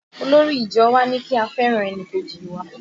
Olórí ìjọ wa ní kí a fẹ́ràn ẹnìkejì wa